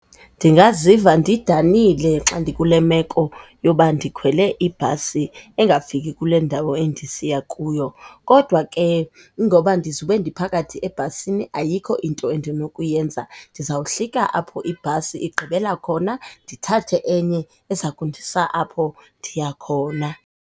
Ndingaziva ndidanile xa ndikule meko yoba ndikhwele ibhasi engafiki kule ndawo endisiya kuyo, kodwa ke ngoba ndizube ndiphakathi ebhasini ayikho into endinokuyenza. Ndizawuhlika apho ibhasi igqibela khona ndithathe enye ezokundisa apho ndiya khona.